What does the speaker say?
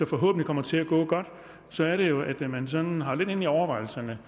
forhåbentlig kommer til at gå godt så er det jo at man sådan har lidt inde i overvejelserne